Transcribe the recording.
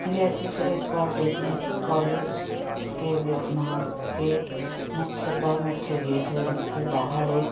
यह अच्छी तरह पॉलिटेक्निक कॉलेज के विद्य-- महावि--के मुख्यतः मुख्य गेट है जिसके बाहर एक--